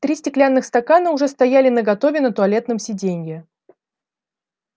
три стеклянных стакана уже стояли наготове на туалетном сиденье